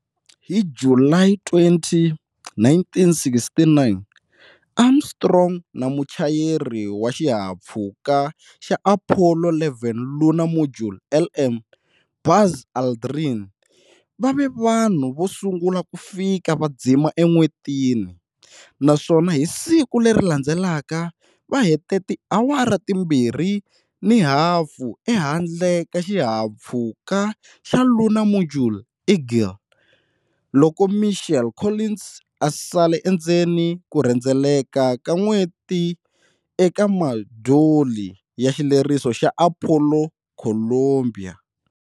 Hi July 20, 1969, Armstrong na muchayeri wa xihahampfhuka xa Apollo 11 Lunar Module, LM, Buzz Aldrin va ve vanhu vo sungula ku fika va dzima eN'wetini, naswona hi siku leri landzelaka va hete tiawara timbirhi ni hafu ehandle ka xihahampfhuka xa Lunar Module"Eagle" loko Michael Collins a sale endzeni ku rhendzeleka ka n'weti eka Modyuli ya Xileriso xa Apollo"Columbia".